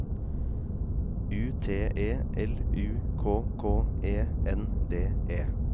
U T E L U K K E N D E